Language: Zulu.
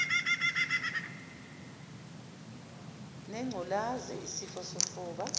nengculazi isifo sofuba